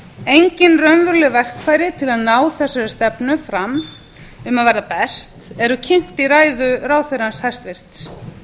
engin raunveruleg verkfæri til að ná þessari stefnu fram um að verða best eru kynnt í ræðu ráðherrans hæstvirts